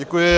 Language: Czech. Děkuji.